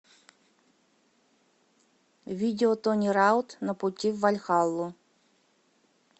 видео тони раут на пути в вальхаллу